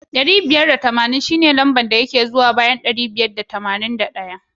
Dari biyar da tamanin shine lamba da ke zuwa bayan ɗari biyar da tamanin da ɗaya.